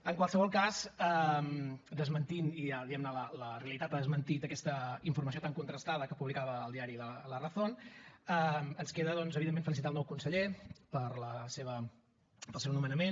en qualsevol cas desmentint i ja diguem ne la realitat l’ha desmentit aquesta informació tan contrastada que publicava el diari de la razón ens queda doncs evidentment felicitar el nou conseller pel seu nomenament